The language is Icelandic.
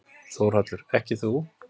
Þórhallur: Ekki þú?